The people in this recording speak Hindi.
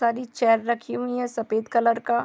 बहुत सारी चेयर रखी हुई है सफ़ेद कलर का |